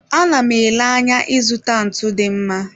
A na m ele anya ịzụta ntu dị mma.